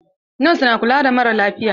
Nos na kula da maralafiya.